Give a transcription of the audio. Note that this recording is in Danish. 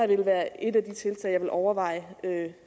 vil være et af de tiltag jeg vil overveje